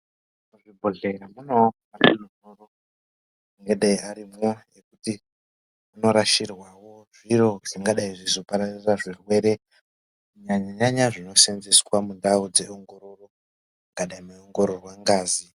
Muzvi bhehlera munewo ma bhini anenge arimo ekuti muno rashirwawo zviro zvingadai zveizo pararira zvirwere kunyanya nyanya zvino senzeswa mundau dze ongororo kana muno ongororwa ngazi.